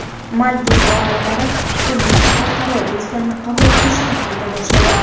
Maldiv orollari hukumati xalqaro reyslarni qabul qilishni qayta boshladi.